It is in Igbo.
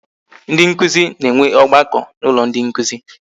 Ndị nkụzi na-enwe ọgbakọ n'ụlọ ndị nkụzi